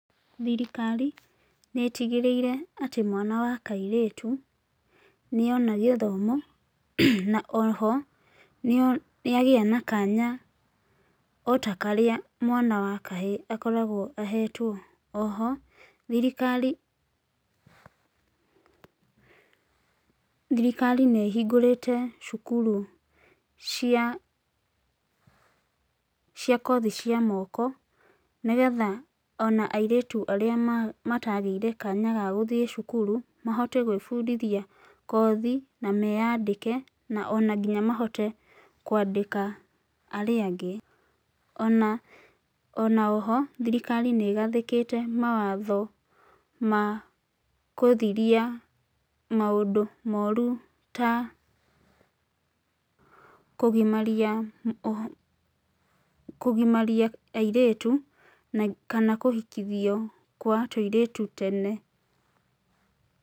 Thirikari nĩ ĩtigĩrĩire atĩ mwana wa kairĩtu nĩona gĩthomo, na oho nĩagĩa na kanya otakarĩa mwana wa kahĩĩ akoragũo ahetwo. Oho, thirikari thirikari nĩ ĩhingũrĩte cukuru cia cia kothi cia moko nĩgetha ona airĩtu arĩa matagĩire kanya ga gũthĩi cukuru mahote gwĩbũdithia kothi na meyandĩke na ona nginya mahote kwandĩka arĩa angĩ ona ona-oho thirikari nĩ ĩgathĩkĩte mawatho ma kũthiria maũndũ moru ta kũgimaria oho kũgimaria airĩtu na kana kũhikithio kwa tũirĩtu tene.